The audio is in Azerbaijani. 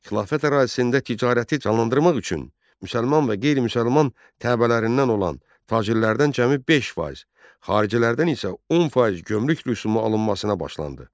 Xilafət ərazisində ticarəti canlandırmaq üçün müsəlman və qeyri-müsəlman təbələrindən olan tacirlərdən cəmi 5%, xaricilərdən isə 10% gömrük rüsumu alınmasına başlanıldı.